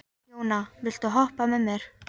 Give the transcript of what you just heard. Jóna, viltu hoppa með mér?